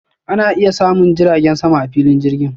Ana iya samun jiragen sama a filin jirgin.